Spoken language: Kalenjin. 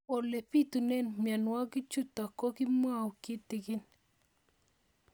Ole pitune mionwek chutok ko kimwau kitig'ín